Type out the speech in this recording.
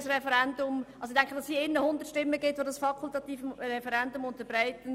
Ich glaube ehrlich gesagt nicht, dass es hier 100 Stimmen gibt, welche das fakultative Referendum unterstützen.